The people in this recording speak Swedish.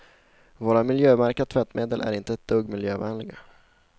Våra miljömärkta tvättmedel är inte ett dugg miljövänliga.